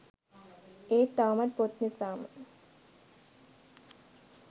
ඒත් තවමත් පොත් නිසාම